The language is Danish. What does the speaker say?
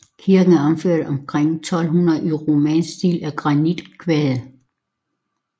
Kirken er opført omkring 1200 i romansk stil af granitkvadre